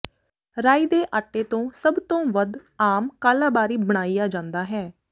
ਰਾਈ ਦੇ ਆਟੇ ਤੋਂ ਸਭ ਤੋਂ ਵੱਧ ਆਮ ਕਾਲਾ ਬਾਰੀ ਬਣਾਇਆ ਜਾਂਦਾ ਹੈ